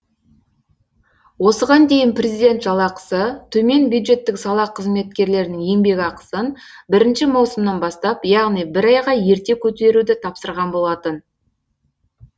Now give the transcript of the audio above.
осыған дейін президент жалақысы төмен бюджеттік сала қызметкерлерінің еңбекақысын бірінші маусымнан бастап яғни бір айға ерте көтеруді тапсырған болатын